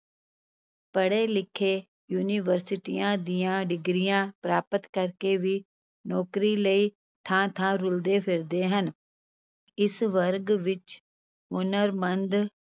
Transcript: ਪੜੇ-ਲਿਖੇ ਯੂਨੀਵਰਸਿਟੀਆਂ ਦੀਆਂ ਡਿਗਰੀਆਂ ਪ੍ਰਾਪਤ ਕਰਕੇ ਵੀ ਨੌਕਰੀ ਲਈ ਥਾਂ-ਥਾਂ ਰੁਲਦੇ ਫਿਰਦੇ ਹਨ, ਇਸ ਵਰਗ ਵਿਚ ਹੁਨਰਮੰਦ